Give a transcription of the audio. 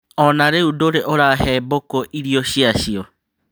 Ona rĩu ndũrĩ ũrahe mbũkũ irio cĩacio.